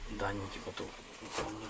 Məlumatların burada, necəsə göstərir.